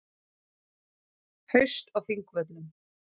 Haust á Þingvöllum.